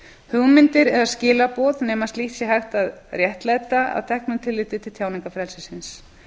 hugmyndir eða skilaboð nema slíkt sé hægt að réttlæta að teknu tilliti til tjáningarfrelsisins